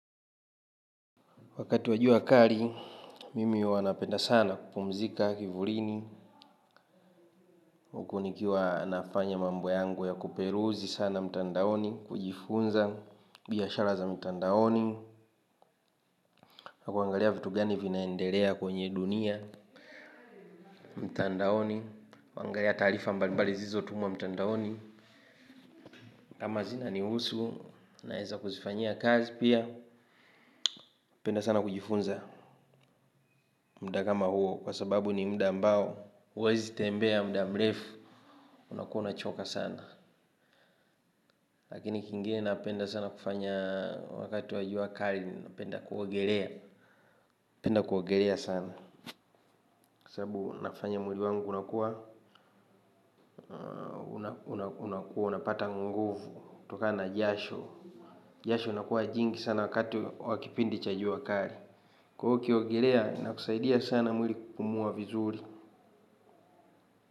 Wakati wa jua kali, mimi huwa napenda sana kupumzika kivulini, huku nikiwa nafanya mambo yangu ya kuperuzi sana mtandaoni, kujifunza biashara za mtandaoni, na kuangalia vitu gani vinaendelea kwenye dunia mtandaoni, kuangalia taarifa mbalimbali zilizotumwa mtandaoni, ama zina nihusu naweza kuzifanyia kazi pia, napenda sana kujifunza muda kama huo kwa sababu ni muda ambao, huwezi tembea muda mrefu unakuwa unachoka sana. Lakini kingine napenda sana kufanya wakati wa jua kali, napenda kuogelea, napenda kuogelea sana. Kwa sababu nafanya mwili wangu unakuwa unakuwa unapata nguvu kuokana jasho. Jasho unakuwa jingi sana wakati wa kipindi cha jua kali kwa hio ukiogolea inakusaidia sana mwili kupumua vizuri.